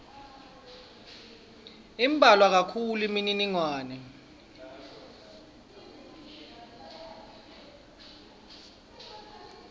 imbalwa kakhulu imininingwane